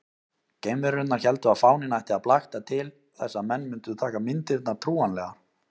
Geimverurnar héldu að fáninn ætti að blakta til þess að menn mundu taka myndirnar trúanlegar.